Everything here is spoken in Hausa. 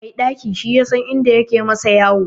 Mai ɗaki shi yasan inda yake masa yoyo.